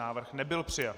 Návrh nebyl přijat.